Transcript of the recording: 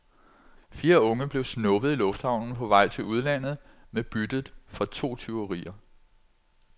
Fire unge blev snuppet i lufthavnen på vej til udlandet med byttet fra to tyverier.